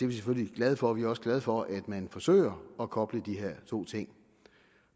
vi selvfølgelig glade for vi er også glade for at man forsøger at koble de her to ting